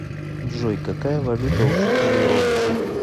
джой какая валюта у жителей родоса